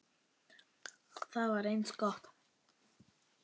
Það var eins gott!